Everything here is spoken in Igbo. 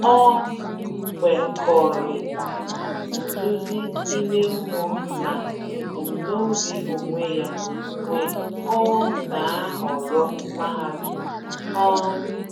O kwekọrịta nduzi ime mmụọ na ebumnobi onwe ya mgbe o na-ahọrọ mahadum. um